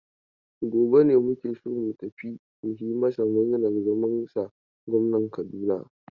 Gobe ne muke so mu tafi mu yi masu murnar zamansa gwamnan Kaduna.